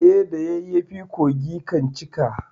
Eh, da yayyafi kogi kan cika.